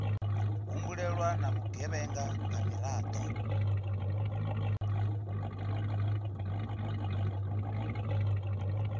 humbulelwa na vhugevhenga nga miraḓo